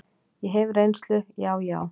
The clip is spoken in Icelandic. Ég hef reynslu, já, já.